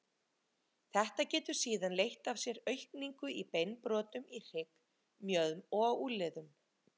Þetta getur síðan leitt af sér aukningu í beinbrotum í hrygg, mjöðm og á úlnliðum.